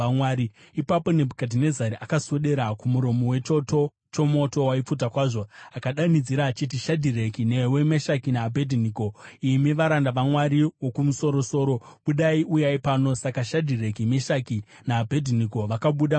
Ipapo Nebhukadhinezari akaswedera kumuromo wechoto chomoto waipfuta kwazvo akadanidzira akati, “Shadhireki, newe Meshaki naAbhedhinego, imi varanda vaMwari Wokumusoro-soro, budai. Uyai pano!” Saka Shadhireki, Meshaki naAbhedhinego vakabuda mumoto,